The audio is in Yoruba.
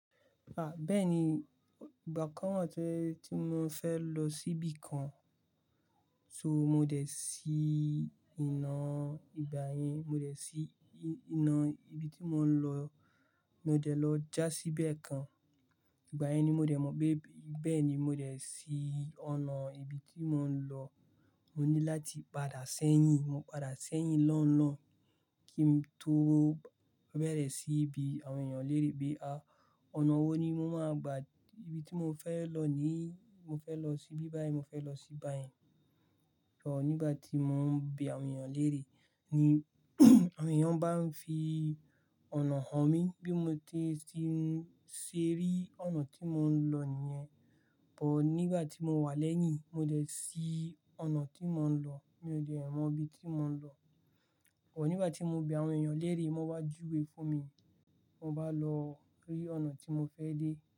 A! Bẹ́ẹ̀ni, ìgbà kan wa tí mo fẹ́ lọ síbi kan, so mo dẹ̀ sí iná ìgbà yẹn, mo dẹ̀ sí iná ibi tí mò ń lọ, mo dẹ̀ lọ já sí bẹ́ẹ̀ kan. Ìgbà yẹn ni mo dẹ̀ mọ̀ pé bẹ́ẹ̀ ni mo dẹ̀ sí ọ̀nà ibi tí mò ń lọ. Mo ní láti padà sẹ́yìn, mo padà sẹ́yìn lọ́nlọ́́n kí n tó bẹ̀rẹ̀ sí í bí àwọn èèyàn lérè pé, "à! Ọ̀nà wo ni mo máa gba? Ibi tí mo fẹ́ lọ ní, mo fẹ́ lọ síbí báyìí, mo fẹ́ lọ síbi báyìí." Ọ̀, nígbà tí mò ń bí àwọn èèyàn lérè ni àwọn èèyàn bá ń fi ọ̀nà hàn mí bí mo ti ṣè ri ọ̀nà tí mò ń lọ nìyẹn. Ọ̀, nígbà tí mo wà lẹ́yìn, mo dẹ̀ sí ọ̀nà tí mò ń lọ. Mi ò dẹ̀ mọ ibi tí mò ń lọ. Ọ̀, nígbà tí mo bí àwọn èèyàn lérè, wọ́n wá júwe fún mi. Mo bá lọ rí ọ̀nà tí mo fẹ́ dé.